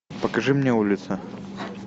покажи мне улица